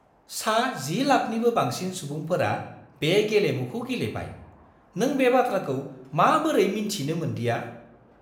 सा 10 लाखनिबो बांसिन सुबुंफोरा बे गेलेमुखौ गेलेबाय। नों बे बाथ्राखौ माबोरै मिन्थिनो मोन्दिया?